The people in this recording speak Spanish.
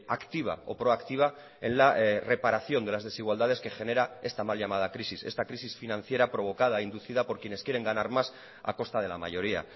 activa o proactiva en la reparación de las desigualdades que genera esta mal llamada crisis esta crisis financiera provocada e inducida por quienes quieren ganar más a costa de la mayoría